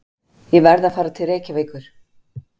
Ég verð að fara til Reykjavíkur!